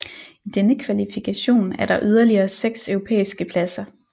I denne kvalifikation er der yderligere 6 europæiske pladser